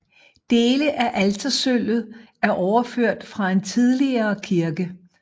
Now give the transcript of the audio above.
Dele af altersølvet er overført fra en tidligere kirke